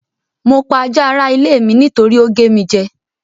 Mo pa ajá ara ilé mi nítorí ó gé mi jẹ́.